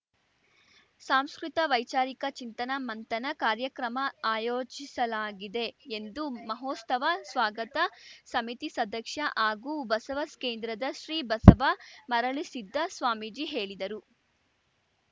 ಸಾಂಸ್ಕೃತ ವೈಚಾರಿಕ ಚಿಂತನ ಮಂಥನ ಕಾರ್ಯಕ್ರಮ ಆಯೋಜಿಸಲಾಗಿದೆ ಎಂದು ಮಹೋಸ್ತವ ಸ್ವಾಗತ ಸಮಿತಿ ಸದಕ್ಷ್ಯ ಹಾಗೂ ಬಸವ ಕೇಂದ್ರದ ಶ್ರೀ ಬಸವ ಮರುಳಸಿದ್ದ ಸ್ವಾಮೀಜಿ ಹೇಳಿದರು